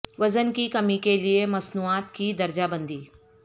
وزن کی کمی کے لئے مصنوعات کی درجہ بندی